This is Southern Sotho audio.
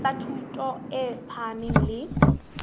tsa thuto e phahameng le